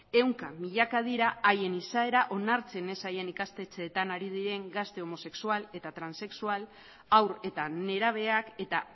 ehunka milaka dira haien izaera onartzen ez zaien ikastetxeetan ari diren gazte homosexual eta transexual haur eta nerabeak eta